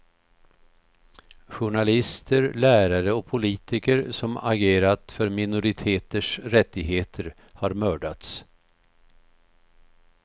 Journalister, lärare och politiker som agerat för minoriteters rättigheter har mördats.